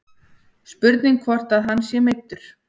Spurning hvort að hann sé meiddur.